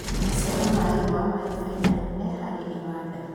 maciaro ma igwa mari baida nene harĩ iwanda